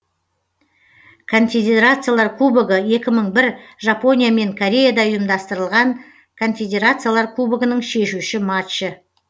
конфедерациялар кубогы екі мың бір жапония мен кореяда ұйымдастырылған конфедерациялар кубогының шешуші матчы